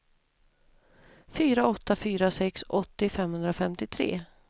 fyra åtta fyra sex åttio femhundrafemtiotre